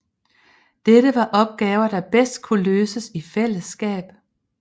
Dette var opgaver der bedst kunne løses i fællesskab